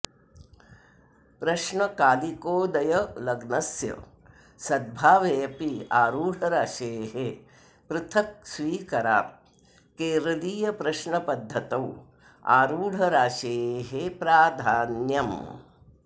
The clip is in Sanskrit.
प्रश्नकालिकोदयलग्नस्य सद्भावेऽपि आरूढराशेः पृथक् स्वीकरात् केरलीयप्रश्नपद्धतौ आरूढराशेः प्राधान्यम्